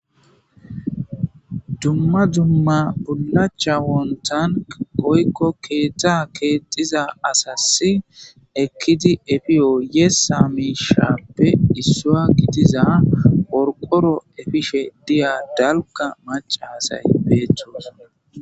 Dumma dumma pulacha wontank qoykko keeththa keexiza asassi ekkidi efiyo ye saamisharppe issua gidiza orqoro efishe diya dalka maca asay peeththos.